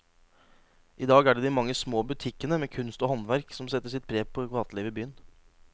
I dag er det de mange små butikkene med kunst og håndverk som setter sitt preg på gatelivet i byen.